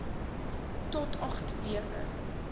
tot agt weke